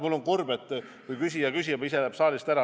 Mul on kurb, kui küsija läheb saalist ära.